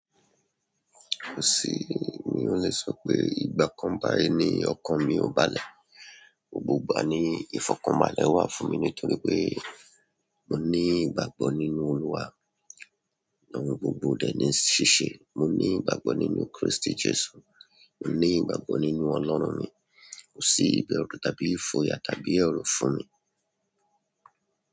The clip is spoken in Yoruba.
Kò sí mi ò le sọ pé ìgbà kan bayi ní ọkàn mi ò bálẹ̀. Gbogbo ìgbà ní ìfọ̀kànbalẹ̀ wà fún mi nítorí pé mó ní ìgbàgbọ́ nínú Olúwati gbogbo wa dè ní ṣíṣe. Mó ní ìgbàgbọ́ nínú Kristi Jesu. Mó ní ìgbàgbọ́ nínú Ọlọ́run mi. Kò sí ìbẹ̀rù tàbí ìfòyà tàbí ẹ̀rù fún mi.